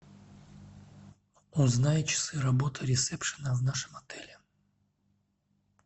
узнай часы работы ресепшена в нашем отеле